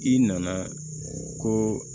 I nana ko